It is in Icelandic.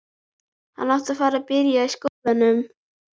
Hann átti að fara að byrja í skólanum.